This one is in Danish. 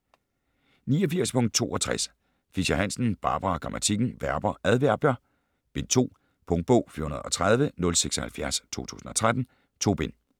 89.62 Fischer-Hansen, Barbara: Grammatikken: Verber, adverbier: Bind 2 Punktbog 413076 2013. 2 bind.